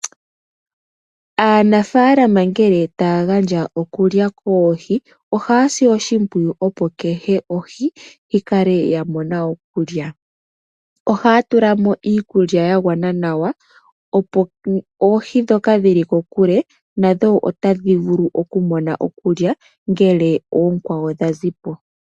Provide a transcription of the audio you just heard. Aanafaalama ngele taya gandja okulya koohi ohaya sile oshimpwiyu opo kehe ohi yikale ya mona okulya, ohaya tula mo iikulya ya gwana nawa opo oohi dhoka dhili kokule dhi vule oku mona, ngele ookwawo dha zi po.